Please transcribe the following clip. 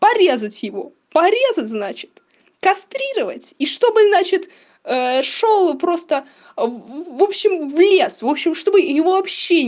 порезать его порезать значит кастрировать и чтобы значит шёл просто в вобщем в лес вобщем чтобы его вообще